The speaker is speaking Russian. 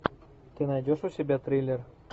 ты найдешь у себя триллер